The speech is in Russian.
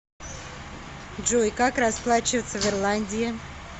джой как расплачиваться в ирландии